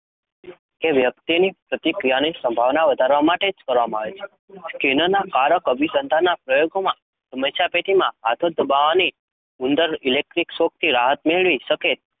કે વ્યક્તિની પ્રતિક્રિયાની સંભાવના વધારવા માટે જ કરવામાં આવે છે. સ્કિનરના કારક અભિસંધાનના પ્રયોગમાં સમસ્યાપેટીમાં હાથો દબાવવાથી ઉંદર ઈલેક્ટ્રીક શોકથી રાહત મેળવી શકે